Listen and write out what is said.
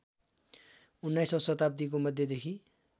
उन्नाइसौँ शताव्दीको मध्यदेखि